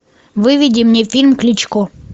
выведи мне фильм кличко